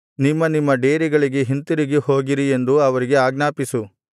ನಿಮ್ಮ ನಿಮ್ಮ ಡೇರೆಗಳಿಗೆ ಹಿಂತಿರುಗಿ ಹೋಗಿರಿ ಎಂದು ಅವರಿಗೆ ಆಜ್ಞಾಪಿಸು